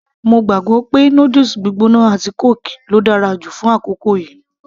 mo gbàgbọ́ pé noodles gbígbóná àti kóòkì ló dára jù fún àkókò yìí